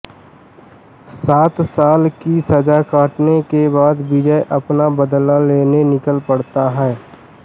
सात साल की सजा काटने के बाद विजय अपना बदला लेने निकल पड़ता है